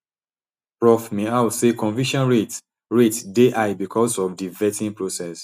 prof miao say conviction rates rates dey high becos of di vetting process